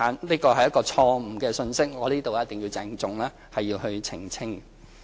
這是一個錯誤信息。我在此一定要鄭重澄清。